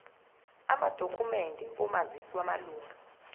amadokhumende omazisi wamalunga